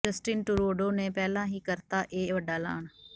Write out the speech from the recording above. Justin Trudeau ਨੇ ਪਹਿਲਾਂ ਹੀ ਕਰਤਾ ਇਹ ਵੱਡਾ ਐਲਾਨ